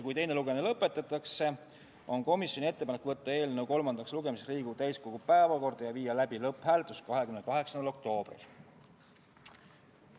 Kui teine lugemine lõpetatakse, siis on komisjoni ettepanek võtta eelnõu kolmandaks lugemiseks Riigikogu täiskogu päevakorda 28. oktoobril ja viia läbi lõpphääletus.